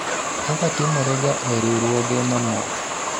kaka timorega e riwruoge mamoko